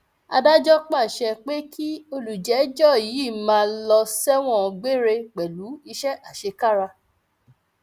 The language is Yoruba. adájọ pàṣẹ pé kí olùjẹjọ yìí máa lọ sẹwọn gbére pẹlú iṣẹ àṣekára